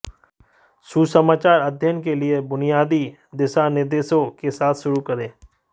सुसमाचार अध्ययन के लिए बुनियादी दिशानिर्देशों के साथ शुरू करें